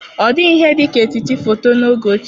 Ọ dịghị ihe dị ka etiti foto n'oge ochie.